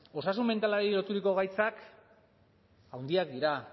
osasun mentalari loturiko gaitzak handiak dira